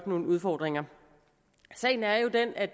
nogle udfordringer sagen er jo den at